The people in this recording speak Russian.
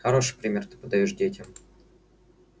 хороший пример ты подаёшь детям